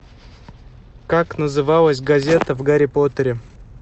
как называлась газета в гарри поттере